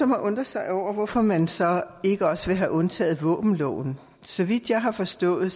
har undret sig over hvorfor man så ikke også vil have undtaget våbenloven så vidt jeg har forstået